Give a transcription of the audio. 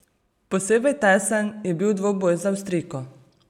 Posebej tesen je bil dvoboj z Avstrijko.